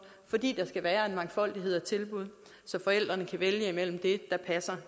fordi der skal være en mangfoldighed af tilbud så forældrene kan vælge det der passer